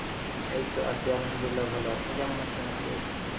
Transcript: এইতো Arbi ভালো, আপনি কেমন আছেন আপু?